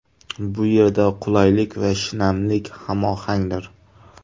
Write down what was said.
Bu yerda qulaylik va shinamlik hamohangdir.